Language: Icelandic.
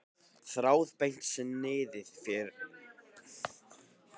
Þráðbeint sniðið fór félaga hennar mun betur.